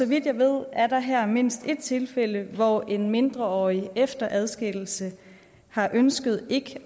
vidt jeg ved er der her mindst et tilfælde hvor en mindreårig efter adskillelse har ønsket ikke